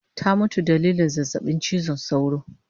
Ta mutu dalilin zazzabin chizon sauro